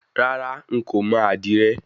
Rárá n kò mọ àdìrẹ.